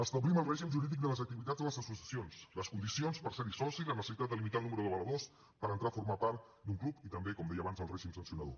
establim el règim jurídic de les activitats de les associacions les condicions per serne soci la necessitat de limitar el nombre d’avaladors per entrar a formar part d’un club i també com deia abans el règim sancionador